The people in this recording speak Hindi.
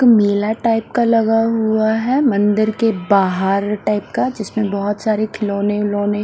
मेला टाइप का लगा हुआ है मंदिर के बाहर टाइप का जिसमें बहोत सारे खिलौने विलौने--